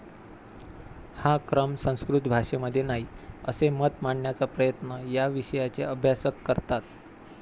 हा क्रम संस्कृत भाषेमध्ये नाही, असे मत मांडण्याचा प्रयत्न या विषयाचे अभ्यासक करतात.